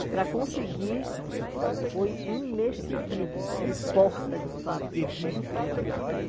E para conseguir, foi um mês seguido de porta de fábrica.